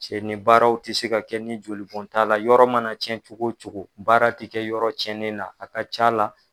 Cɛ ni baaraw ti se ka kɛ ni jolibon t'a la, yɔrɔ mana cɛn cɛn cogo cogo baara ti kɛ yɔrɔ cɛnni na a ka ca la